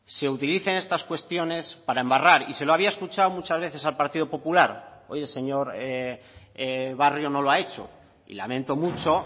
se utilicen estas cuestiones para embarrar y se lo había escuchado muchas veces al partido popular hoy el señor barrio no lo ha hecho y lamento mucho